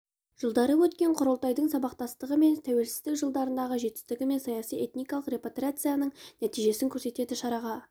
жылдары өткен құрылтайдың сабақтастығы мен тәуелсіздік жылдарындағы жетістігі мен саяси этникалық репатриацияның нәтижесін көрсетеді шараға